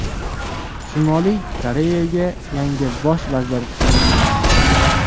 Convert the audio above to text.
Shimoliy Koreyaga yangi bosh vazir tayinlandi.